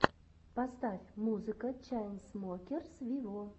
поставь музыка чайнсмокерс виво